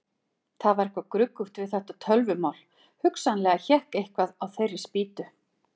Það var eitthvað gruggugt við þetta tölvumál, hugsanlega hékk eitthvað á þeirri spýtu.